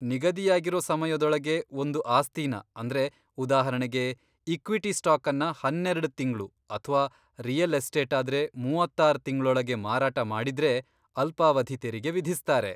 ನಿಗದಿಯಾಗಿರೋ ಸಮಯದೊಳಗೆ ಒಂದು ಆಸ್ತಿನ ಅಂದ್ರೆ ಉದಾಹರಣೆಗೆ ಇಕ್ವಿಟಿ ಸ್ಟಾಕನ್ನ ಹನ್ನೆರೆಡ್ ತಿಂಗ್ಳು ಅಥ್ವಾ ರಿಯಲ್ ಎಸ್ಟೇಟಾದ್ರೆ ಮೂವತ್ತಾರ್ ತಿಂಗ್ಳೊಳಗೆ ಮಾರಾಟ ಮಾಡಿದ್ರೆ ಅಲ್ಪಾವಧಿ ತೆರಿಗೆ ವಿಧಿಸ್ತಾರೆ.